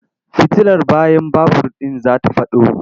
Fitilar bayan babur ɗin za ta faɗo.